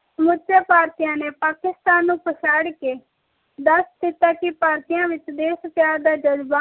ਵਿਚ ਸਮੁਚੇ ਭਾਰਤੀਆਂ ਨੇ ਪਾਕਿਸਤਾਨ ਨੂੰ ਪਛਾੜ ਕੇ ਦਸ ਦਿੱਤਾ ਕਿ ਭਾਰਤੀ ਆਂ ਵਿਚ ਦੇਸ਼ ਪਿਆਰ ਦਾ ਜਜ਼ਬਾ